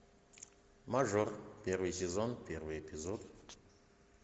мажор первый сезон первый эпизод